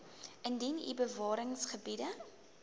indien u bewaringsgebiede